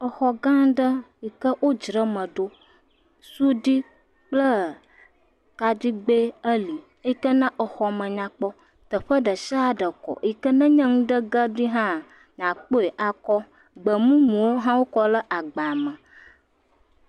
Exɔ gã aɖe siwo dzra eme ɖo. Sudui kple kaɖigbe wò li yike na exɔ me nyakpɔ. Teƒe ɖe sia ɖe kɔ yike ne nye be enu ɖe ge ɖi hã akpɔe akɔ. Gbemumuwo hã kɔ ɖe agba me.